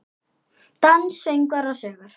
Dans, söngvar og sögur.